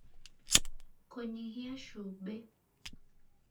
kũnyihia cumbĩ